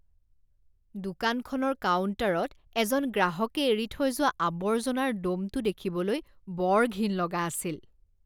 দোকানখনৰ কাউণ্টাৰত এজন গ্ৰাহকে এৰি থৈ যোৱা আবৰ্জনাৰ দ'মটো দেখিবলৈ বৰ ঘিণ লগা আছিল।